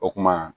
O kuma